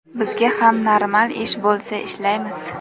Bizga ham normal ish bo‘lsa ishlaymiz.